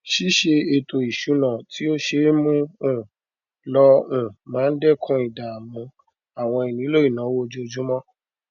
ṣíṣe ètò ìṣúná tí ó ṣe é mú um lò um máa n dẹkun ìdààmú àwọn ìnílò ìnáwó ojoojúmọ